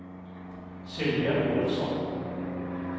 Sylvia Olovsson